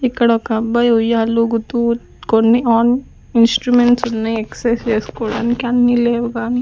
ఇక్కడ ఒక అబ్బాయి ఉయ్యాలుగుతూ కొన్ని ఆన్ ఇన్స్ట్రుమెంట్స్ ఉన్నాయి ఎక్సర్సైస్ చేసుకోవడానికి అన్ని లేవు కానీ.